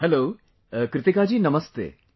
Hello, Kritika ji Namaste |